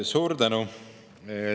Suur tänu!